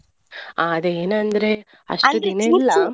ಹಾ ಅದೇ ಏನಂದ್ರೆ .